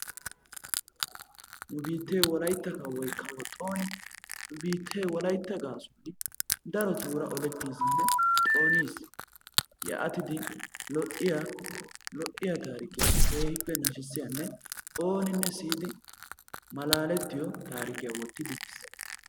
Nu bittee wolaytta kawoy kawo xooni nu biittee wolaytta gaasuwaan darotuura olettisinne xooniis. yaatidi lo"iyaa tarikkiyaa keehippe naashisiyaanne oonnine siiyidi malalettiyoo tarikkiyaa woottidi biis.